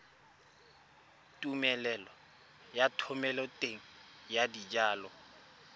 tumelelo ya thomeloteng ya dijalo